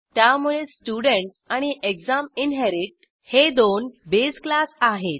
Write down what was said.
त्यामुळे स्टुडेंट आणि exam inherit हे दोन बेस क्लास आहेत